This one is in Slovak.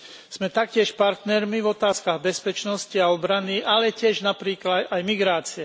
Sme taktiež partnermi v otázkach bezpečnosti a obrany, ale tiež napríklad aj migrácie.